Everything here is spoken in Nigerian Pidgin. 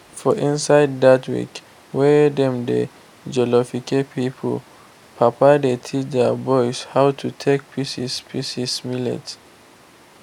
for inside dat week wey dem dey jollificate pipo papa dey teach their boys how to take pieces pieces millet.